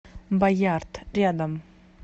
боярд рядом